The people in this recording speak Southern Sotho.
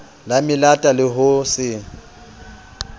la melata le ho se